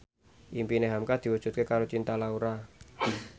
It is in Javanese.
impine hamka diwujudke karo Cinta Laura